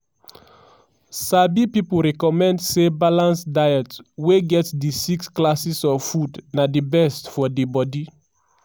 sabi pipo recommend say balanced diets wey get di six classes of foods na di best for di bodi.